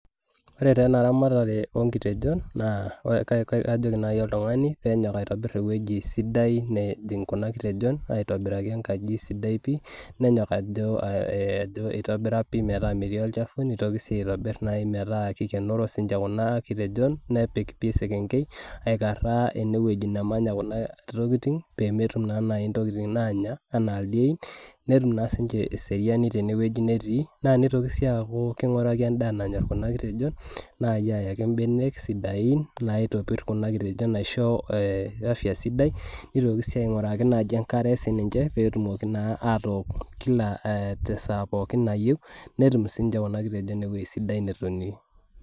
Ore taa ena ramatare oonkitejon naa kajoki naji oltungani penyok aitobir ewueji sidai nejing kuna kitejon , aitobiraki enkaji sidai pi, nenyok ajo itobira pi metaa metii olchafu, nitoki sii aitobir metaa kikienoro sininche kuna kitejon , nepik sii esenkei aikaraa ene wueji nemanya kuna tokitin pemetun naa naji intokitin nanya , anaa ildiein netum naa siniche eseriani tene wueji netii . Nitoki sii aaku kinguraki endaa nanyor kuna kitejon naai ayaki imbenek sidain naitopir kuna kitejon aisho afya sidai . Nitoki si ainguraki enkare pee etumoki naa atook kila te saa pookin nayieu , netum sininche kuna kitejon ewueji sidai netonie.